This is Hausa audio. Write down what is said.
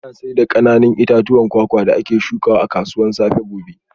Ana sayar da kananan itatuwan kwakwa da ake shukawa a kasuwar safe gobe